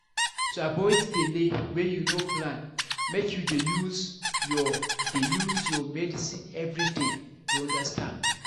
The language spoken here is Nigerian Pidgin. to avoid belle wey you no plan make you dey use your dey use your medicine everyday you understand